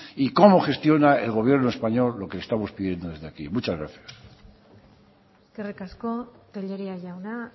y cómo gestiona el gobierno español lo que le estamos pidiendo desde aquí muchas gracias eskerrik asko tellería jauna